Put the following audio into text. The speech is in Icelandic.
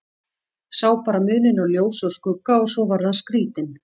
Sá bara muninn á ljósi og skugga og svo varð hann skrítinn.